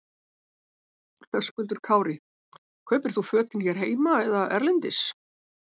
Höskuldur Kári: Kaupir þú fötin hér heima eða erlendis?